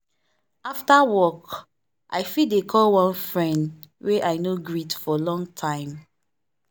after work i fit dey call one friend wey i no greet for long time.